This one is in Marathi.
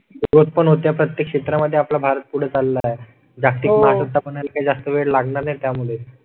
प्रत्येक क्षेत्रामध्ये आपला भारत पुढे चालला आहे. जागतिक महासत्ता म्हणून काही जास्त वेळ लागणार नाही त्यामुळे.